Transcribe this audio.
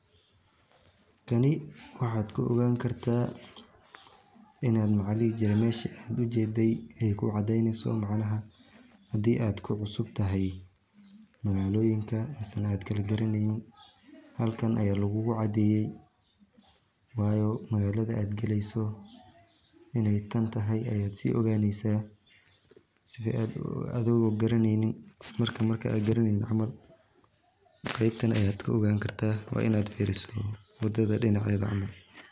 Kani waxaad ku ogaan kartaa inaad macli jirin meeshii aad ujeeday ay ku caddaynayso, macnaha haddii aad ku cusub tahay magaalooyinka isla markaan gali garanayn halkan ayaa lagugu caddiyay. Waayo magaalada aad geleyso inay tan tahay ayaad si ogaaneysaa. Si aad adoo garanaynin marka markaa garanayn camal. Qaybta aan aad ku ogaan kartaa waa inaad fiiriso wadada dhinaca Eeba Camal.